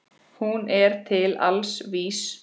Hún er til alls vís.